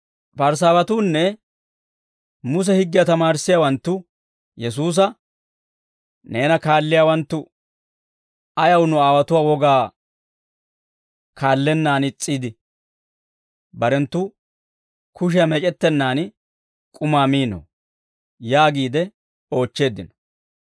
Parisaawatuunne Muse higgiyaa tamaarissiyaawanttu Yesuusa, «Neena kaalliyaawanttu ayaw nu aawotuwaa wogaa kaallennaan is's'iide, barenttu kushiyaa meec'ettennaan k'umaa miinoo?» yaagiide oochcheeddino.